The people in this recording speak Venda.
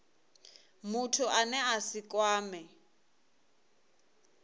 muthu ane a si kwamee